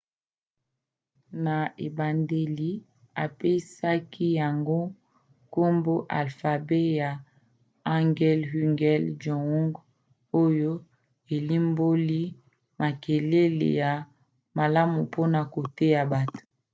na ebandeli apesaki yango nkombo alfabe ya hangeul hunmin jeongeum oyo elimboli makelele ya malamu mpona koteya bato